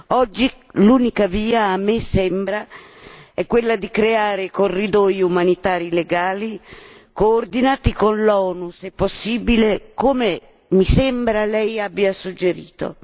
Oggi l'unica via, a me sembra, è quella di creare corridoi umanitari legali, coordinati con l'ONU se possibile, come mi sembra lei abbia suggerito.